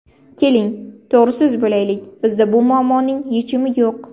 Keling to‘g‘riso‘z bo‘laylik, bizda bu muammoning yechimi yo‘q.